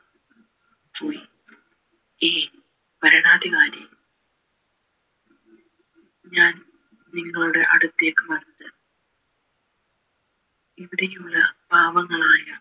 ഏയ് ഭരണാധികാരി ഞാൻ നിങ്ങളുടെ അടുത്തേക് വന്നത് ഇവിടെയുള്ള പാവങ്ങളായ